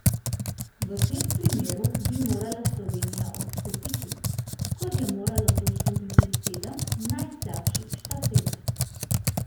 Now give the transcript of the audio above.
V tem primeru bi morala Slovenija odstopiti, kot je moralo to storiti sedem najslabših štafet.